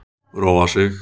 Róa sig.